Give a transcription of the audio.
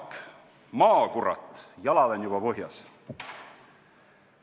"Jaak, maa, kurat, jalad on juba põhjas!